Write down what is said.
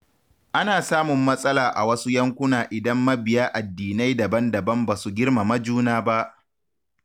Ana samun matsala a wasu yankuna idan mabiya addinai daban-daban ba su girmama juna ba.